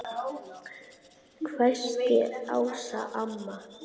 hvæsti Ása amma.